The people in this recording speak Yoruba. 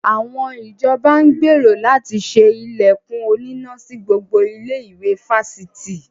Àwọn ìjọba ń gbèrò láti ṣe ilẹ̀kùn oníná sí gbogbo ilé-ìwé fásitì.